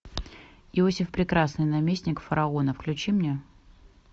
иосиф прекрасный наместник фараона включи мне